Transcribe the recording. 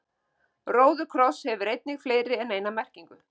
Róðukross hefur einnig fleiri en eina merkingu.